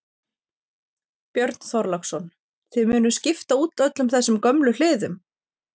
Björn Þorláksson: Þið munuð skipta út öllum þessum gömlu hliðum?